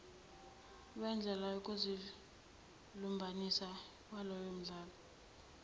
wendlela yokuzilumbanisa ngaleyondlela